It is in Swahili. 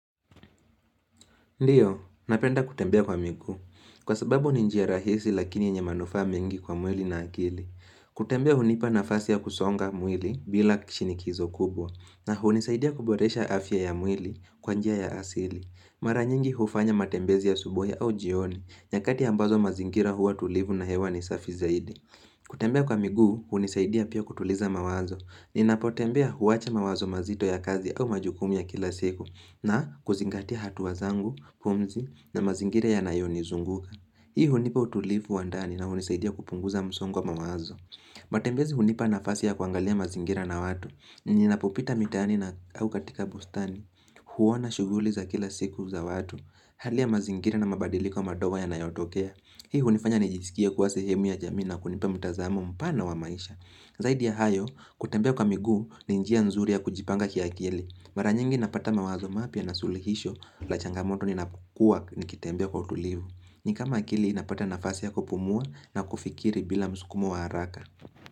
Ndiyo, napenda kutembea kwa miguu. Kwa sababu ni njia rahisi lakini yenye manufaa mengi kwa mwili na akili. Kutembea hunipa nafasi ya kusonga mwili bila kishinikizo kubwa. Na hunisaidia kuboresha afya ya mwili kwa njia ya asili. Mara nyingi hufanya matembezi asubuhi au jioni. Nyakati ambazo mazingira huwa tulivu na hewa ni safi zaidi. Kutembea kwa migu, hunisaidia pia kutuliza mawazo. Ninapotembea huwacha mawazo mazito ya kazi au majukumu ya kila siku. Na kuzingatia hatua zangu, pumzi na mazingira yanayonizunguka Hii hunipa utulivu wa ndani na hunisaidia kupunguza msongo wa mawazo matembezi hunipa nafasi ya kuangalia mazingira na watu Ninapopita mitaani na au katika bustani huona shuguli za kila siku za watu Hali ya mazingira na mabadiliko madogo yanayotokea Hii hunifanya nijisikie kuwa sehemu ya jamii na kunipa mtazamo mpana wa maisha Zaidi ya hayo, kutembea kwa miguu, ni njia nzuri ya kujipanga kiakili Mara nyingi napata mawazo mapya na sulihisho la changamoto ninapokua nikitembea kwa utulivu ni kama akili inapata nafasi ya kupumua na kufikiri bila msukumo wa haraka.